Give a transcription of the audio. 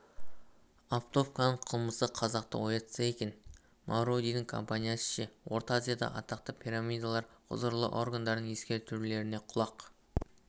оптовканың қылмысы қазақты оятса екен мавродидің компаниясы ше орта азиядағы атақты пирамидалар құзырлы органдардың ескертулеріне құлақ